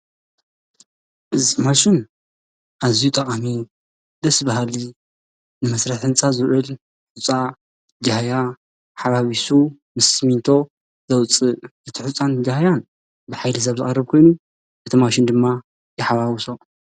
እዚ ማሽን ኣዝዩ ጠቃሚ እዩ ደስ በሃሊ ንመስርሒ ህንፃ ዝውዕል ሑፃን ጃህያ ሓዋውሱ ምስ ስሚንቶ ዘውፅእ እቲ ሑፃን ጃህያን ብሓይሊ ሰብ ዝቀርብ ኮይኑ እቲ ማሽን ድማ ይሓዋውሶ።